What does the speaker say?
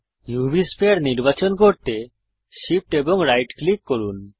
উভ sphere নির্বাচন করতে Shift এবং রাইট ক্লিক করুন